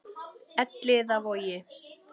Elliðavogi